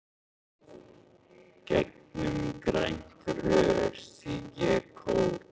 Gegnum grænt rör sýg ég kók.